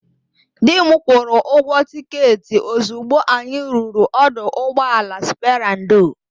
Di m kwụrụ ụgwọ tịketị ozigbo anyị ruru ọdụ ụgbọala Sperandio.